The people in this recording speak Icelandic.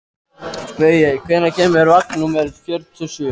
Baui, hvenær kemur vagn númer fjörutíu og sjö?